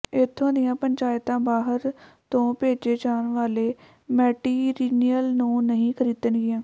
ਇਥੋਂ ਦੀਆਂ ਪੰਚਾਇਤਾਂ ਬਾਹਰ ਤੋਂ ਭੇਜੇ ਜਾਣ ਵਾਲੇ ਮੈਟੀਰੀਅਲ ਨੂੰ ਨਹੀਂ ਖਰੀਦਣਗੀਆਂ